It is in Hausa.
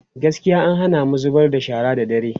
gaskiya an Hana mu zubar da shara da dare